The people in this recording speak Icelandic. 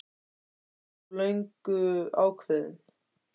Erla: Varst þú löngu ákveðinn?